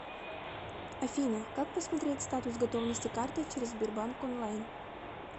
афина как посмотреть статус готовности карты через сбербанк онлайн